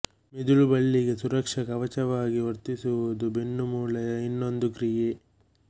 ಮಿದುಳು ಬಳ್ಳಿಗೆ ಸುರಕ್ಷ ಕವಚವಾಗಿ ವರ್ತಿಸುವುದು ಬೆನ್ನು ಮೂಳೆಯ ಇನ್ನೊಂದು ಕ್ರಿಯೆ